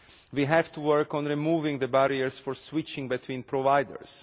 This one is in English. We have to work on removing the barriers for switching between providers.